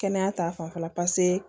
Kɛnɛya ta fanfɛla